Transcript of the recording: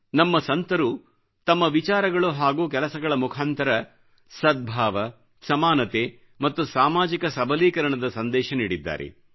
ನಮ್ಮ ಸಂತರು ತಮ್ಮ ವಿಚಾರಗಳು ಹಾಗೂ ಕೆಲಸಗಳ ಮುಖಾಂತರ ಸದ್ಭಾವ ಸಮಾನತೆ ಮತ್ತು ಸಾಮಾಜಿಕ ಸಬಲೀಕರಣದ ಸಂದೇಶ ನೀಡಿದ್ದಾರೆ